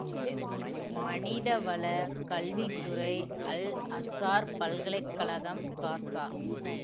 மனிதவளக் கல்வி துறை அல்அசார் பல்கலை கழகம் காசா